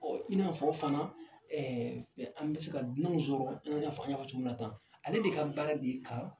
in n'a fɔ fana an bɛ ka dunananw sɔrɔ an y'a fɔ cogo min na tan ale de ka baara de ka